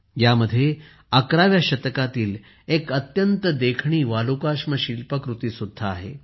यामध्ये 11 व्या शतकातील एक अत्यंत देखणी वालुकाश्म शिल्पकृती सुद्धा आहे